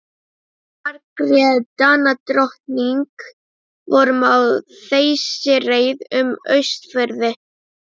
Margrét Danadrottning vorum á þeysireið um Austfirði.